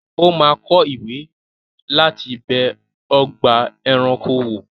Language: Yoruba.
O máa kọ ìwé láti bẹ ọgbà-ẹranko wò.